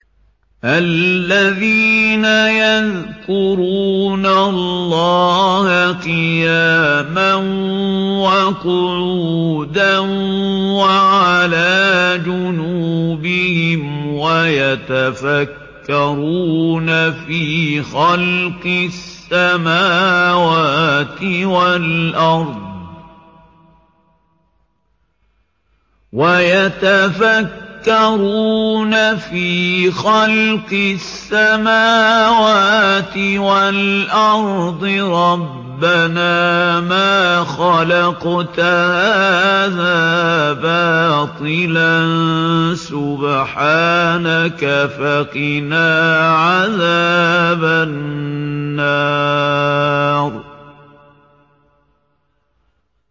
الَّذِينَ يَذْكُرُونَ اللَّهَ قِيَامًا وَقُعُودًا وَعَلَىٰ جُنُوبِهِمْ وَيَتَفَكَّرُونَ فِي خَلْقِ السَّمَاوَاتِ وَالْأَرْضِ رَبَّنَا مَا خَلَقْتَ هَٰذَا بَاطِلًا سُبْحَانَكَ فَقِنَا عَذَابَ النَّارِ